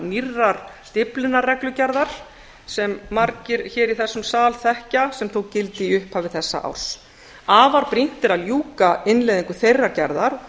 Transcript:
nýrrar dyflinnar reglugerðar sem margir hér í þessum sal þekkja sem tók gildi í upphafi þessa árs afar brýnt er að ljúka innleiðingu þeirrar gerðar